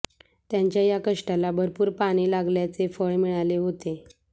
त्यांच्या या कष्टाला भरपूर पाणी लागल्याचे फळ मिळाले होते